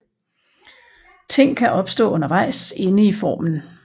Ting kan opstå undervejs inde i formen